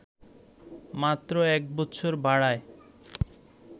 মাত্র ১ বছর বাড়ায়